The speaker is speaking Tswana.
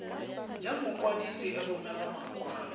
ya mokwadise e romela makwalo